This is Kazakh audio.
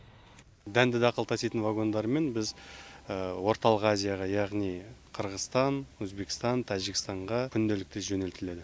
дәнді дақыл таситын вагондармен біз орталық азияға яғни қырғызстан өзбекстан тәжікстанға күнделікті жөнелтіледі